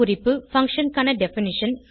குறிப்பு பங்ஷன் க்கான டெஃபினிஷன்